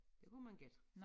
Det kunne man gætte